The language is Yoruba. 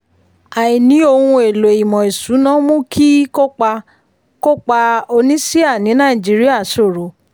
àìní ohun èlò ìmọ̀ ìṣúná mú kí kópa kópa oníṣíà ní nàìjíríà ṣòro.